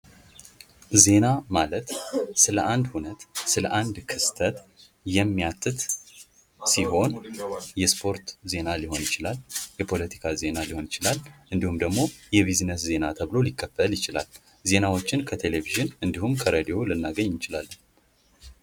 ዜና ማለት ለአንድ ሁነት ለአንድ ክስተት የሚያትት ሲሆን የሱ ሪፖርት ዜና ሊሆን ይችላል። የፖለቲካ ዜና ሊሆን ይችላል። እንዲሁም ደግሞ የቢዝነስ ዜና ተብሎ ሊከፈል ይችላል። ዜናዎችን ከቴሌቪዥን እንዲሁም ከሬዲዮ ልናገኝ እንችላለን።